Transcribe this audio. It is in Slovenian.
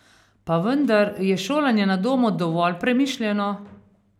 Pa vendar, je šolanje na domu dovolj premišljeno?